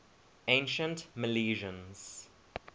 ancient milesians